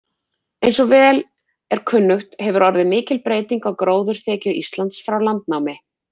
Eins og vel er kunnugt hefur orðið mikil breyting á gróðurþekju Íslands frá landnámi.